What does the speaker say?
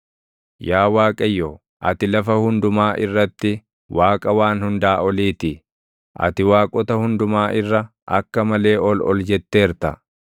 Yaa Waaqayyo, ati lafa hundumaa irratti Waaqa Waan Hundaa Olii ti; ati waaqota hundumaa irra akka malee ol ol jetteerta.